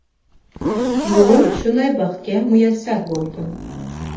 Bugun shunday baxtga muyassar bo‘ldim.